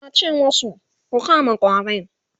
yace masu "Ku kama ƙwarin!"